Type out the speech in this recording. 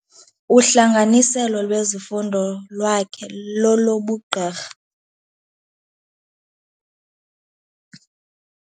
Uhlanganiselo lwezifundo lwakhe lolobugqirha.